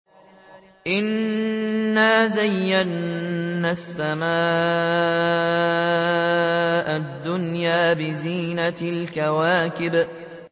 إِنَّا زَيَّنَّا السَّمَاءَ الدُّنْيَا بِزِينَةٍ الْكَوَاكِبِ